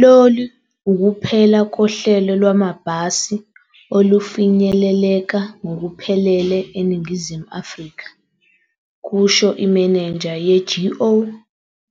"Lolu ukuphela kohlelo lwamabhasi olufinyeleleka ngokuphelele eNingizimu Afrika," kusho imenenja ye-GO